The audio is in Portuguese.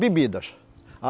Bebidas.